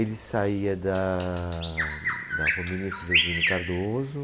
Ele saía daaa, da Rua Ministro Jesuíno Cardoso.